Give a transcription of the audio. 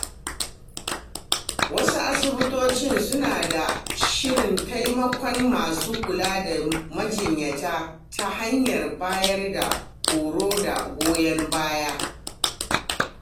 Wasu asibitoci suna da shirin taimakon masu kula da majinyata ta hanyar bayar da horo da goyon baya.